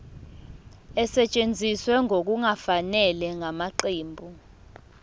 esetshenziswe ngokungafanele ngamaqembu